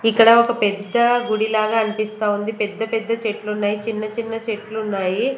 ఇక్కడ ఒక పెద్ద గుడి లాగా అన్పిస్తా ఉంది పెద్ద-పెద్ద చెట్లు ఉన్నాయి చిన్న-చిన్న చెట్లు ఉన్నాయి.